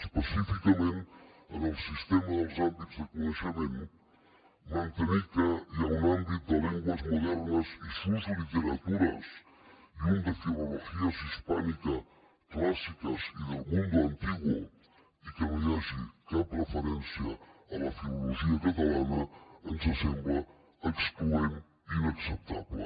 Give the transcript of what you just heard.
específicament en el sistema dels àmbits de coneixement mantenir que hi ha un àmbit de lenguas modernas y sus literaturasdel mundo antiguo i que no hi hagi cap referència a la filologia catalana ens sembla excloent i inacceptable